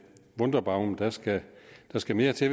wunderbaum der skal der skal mere til